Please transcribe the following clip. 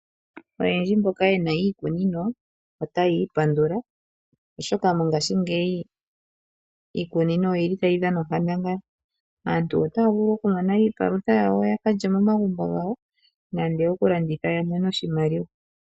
Oyendji mboka yena iikunino otayi ipandula oshoka mongashingeyi iikunino oyili tayi dhana onkandanga. Aantu otaa vulu oku mona iipalutha yawo ya kalye momagumbo gawo nande oku landitha ya mone oshimaliwa.